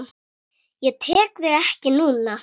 Ég tek þig ekki núna.